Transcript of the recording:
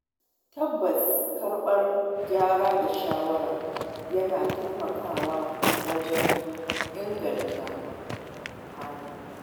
Tabbas Karɓar gyara da shawara yana taimakawa wajen inganta hali.